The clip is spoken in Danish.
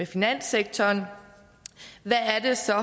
finanssektoren hvad er det så